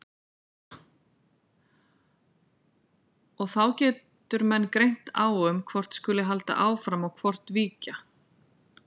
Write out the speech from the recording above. Og þá getur menn greint á um hvort skuli halda og hvort víkja.